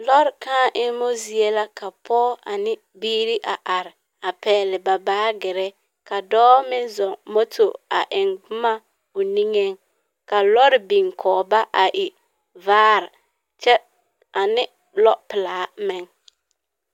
Lɔre kãã emmo zie la ka pɔge ane biiri a are a pɛgle ba baagere ka dɔɔ meŋ zɔŋ moto a eŋ boma o niŋeŋ ka lɔre biŋ kɔge ba a e vaare kyɛ, ane lɔpelaa meŋ.